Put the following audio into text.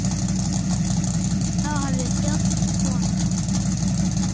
Þá hefði þjóðin koðnað.